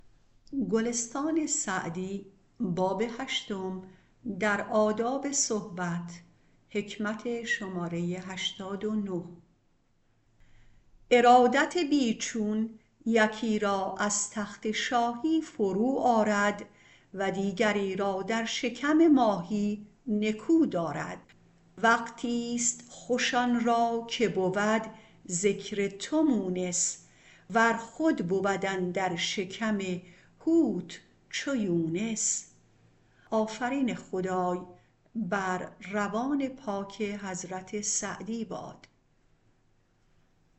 ارادت بی چون یکی را از تخت شاهی فرو آرد و دیگری را در شکم ماهی نکو دارد وقتیست خوش آن را که بود ذکر تو مونس ور خود بود اندر شکم حوت چو یونس